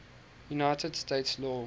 united states law